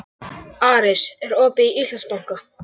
Aris, er opið í Íslandsbanka?